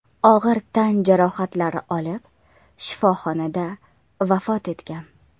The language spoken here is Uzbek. og‘ir tan jarohatlari olib shifoxonada vafot etgan .